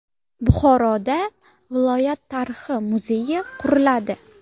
Buxoroda viloyat tarixi muzeyi quriladi.